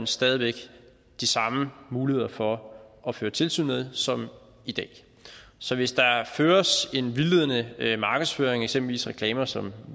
stadig væk de samme muligheder for at føre tilsyn med som i dag så hvis der føres en vildledende markedsføring eksempelvis reklamer som